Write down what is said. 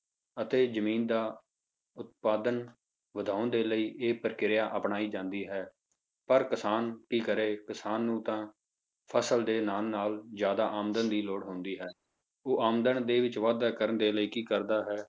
ਅਤੇ ਜ਼ਮੀਨ ਦਾ ਉਤਪਾਦਨ ਵਧਾਉਣ ਦੇ ਲਈ ਇਹ ਪ੍ਰਕਿਰਿਆ ਅਪਣਾਈ ਜਾਂਦੀ ਹੈ, ਪਰ ਕਿਸਾਨ ਕੀ ਕਰੇ ਕਿਸਾਨ ਨੂੰ ਤਾਂ ਫਸਲ ਦੇ ਨਾਲ ਨਾਲ ਜ਼ਿਆਦਾ ਆਮਦਨ ਦੀ ਲੋੜ ਹੁੰਦੀ ਹੈ, ਉਹ ਆਮਦਨ ਦੇ ਵਿੱਚ ਵਾਧਾ ਕਰਨ ਦੇ ਲਈ ਕੀ ਕਰਦਾ ਹੈ,